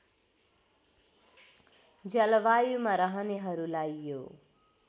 जलवायुमा रहनेहरूलाई यो